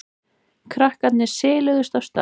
Krakkarnir siluðust af stað.